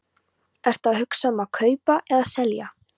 Ertu að hugsa um að kaupa eða selja?